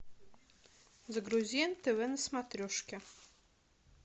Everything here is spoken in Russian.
загрузи нтв на смотрешке